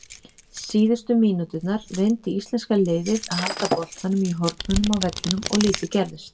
Síðustu mínúturnar reyndi íslenska liðið að halda boltanum í hornunum á vellinum og lítið gerðist.